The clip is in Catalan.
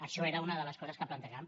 això era una de les coses que plantejàvem